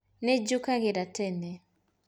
Niĩ njukagĩra tene